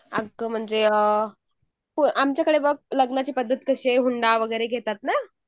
अगं म्हणजे अ आमच्याकडे बघ लग्नाची पद्धत कशी आहे, हुंडा वगैरे घेतात ना.